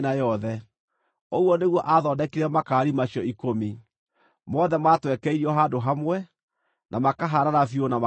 Ũguo nĩguo aathondekire makaari macio ikũmi. Mothe maatwekeirio handũ hamwe, na makahaanana biũ na makaiganana.